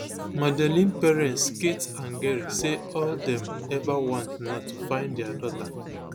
madeleine parents kate and gerry say all dem ever want na to find dia daughter